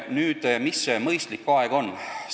Nüüd, kui pikk see mõistlik aeg on?